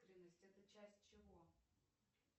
это часть чего